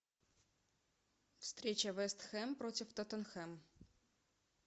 встреча вест хэм против тоттенхэм